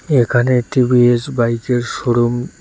এখানে একটি বি_এস বাইকের শোরুম ।